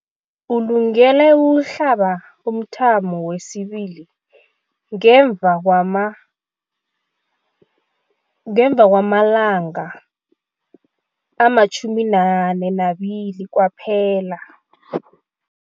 Ulungele ukuhlaba umthamo wesibili ngemva kwama-42 wamalanga kwaphela.